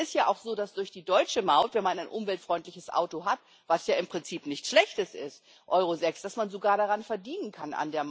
Es ist ja auch so, dass durch die deutsche Maut, wenn man ein umweltfreundliches Auto hat was ja im Prinzip nichts Schlechtes ist, Euro 6 dass man sogar an der Maut verdienen kann.